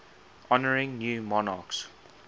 honouring new monarchs